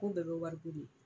K'u bɛɛ be wari di de.